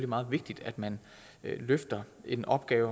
meget vigtigt at man løfter en opgave